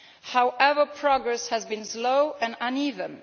However, progress has been slow and uneven.